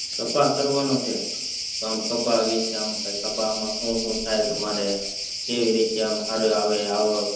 કપા કરવાનો છે આમ કપા માં વેચતા આમ હું હું થાય તમારે કેવી રીતે આવે સારી આવે આવક